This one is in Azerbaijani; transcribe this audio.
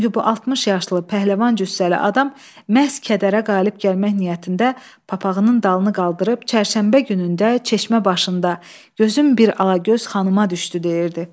Çünki bu 60 yaşlı pəhləvan cüssəli adam məhz kədərə qalib gəlmək niyyətində papaqının dalını qaldırıb “Çərşənbə günündə çeşmə başında gözüm bir alagöz xanıma düşdü” deyirdi.